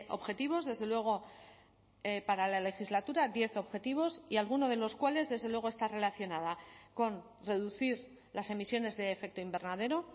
objetivos desde luego para la legislatura diez objetivos y alguno de los cuales desde luego está relacionada con reducir las emisiones de efecto invernadero